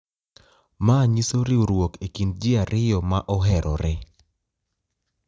ma nyiso riwruok e kind ji ariyo ma oherore.